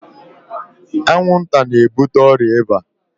Anwụnta na-ebute ọrịa ịba.